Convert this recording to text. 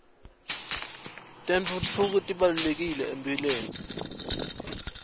tentfutfuko tibalulekile ekuphileni